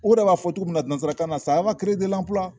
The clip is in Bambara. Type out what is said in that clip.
O yɛrɛ b'a fɔ cogo min nansarakan na